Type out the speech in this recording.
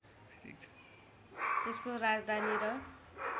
त्यसको राजधानी र